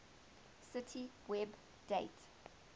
cite web date